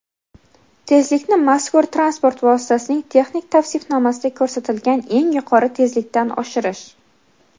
tezlikni mazkur transport vositasining texnik tavsifnomasida ko‘rsatilgan eng yuqori tezlikdan oshirish;.